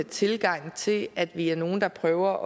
tilgang til at vi er nogle der prøver